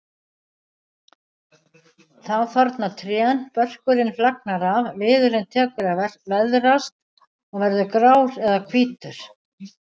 Þá þorna trén, börkurinn flagnar af, viðurinn tekur að veðrast og verður grár eða hvítur.